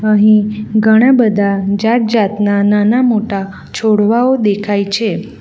અહીં ઘણા બધા જાત જાતના નાના મોટા છોડવાઓ દેખાય છે.